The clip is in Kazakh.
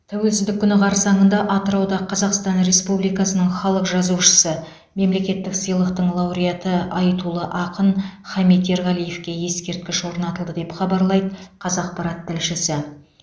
тәуелсіздік күні қарсаңында атырауда қазақстан республикасының халық жазушысы мемлекеттік сыйлықтың лауреаты айтулы ақын хамит ерғалиевке ескерткіш орнатылды деп хабарлайды қазақпарат тілшісі